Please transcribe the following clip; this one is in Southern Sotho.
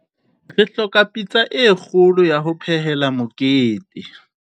re hloka pitsa e kgolo ya ho phehela mokete